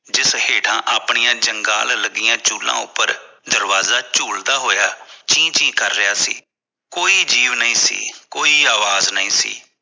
ਜਿਸ ਹੇਠਾਂ ਆਪਣੀਆਂ ਜੰਗਾਲ ਲੱਗੀ ਚੂਲਾ ਉੱਪਰ ਦਰਵਾਜ਼ਾ ਝੁਲਦਾ ਹੋਇਆ ਚੀ ਚੀ ਕਰ ਰਿਹਾ ਸੀ ਕੋਈ ਜੀਵ ਨਹੀਂ ਸੀ ਕੋਈ ਆਵਾਜ਼ ਨਹੀਂ ਸੀ